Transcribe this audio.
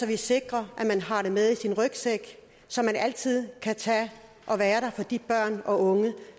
vi sikrer at man har det med sin rygsæk så man altid kan tage og være der for de børn og unge